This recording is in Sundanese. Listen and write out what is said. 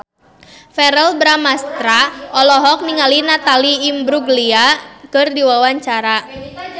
Verrell Bramastra olohok ningali Natalie Imbruglia keur diwawancara